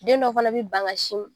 Den dɔw fana bi ban ka sin m